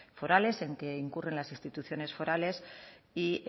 forales en que incurren las instituciones forales y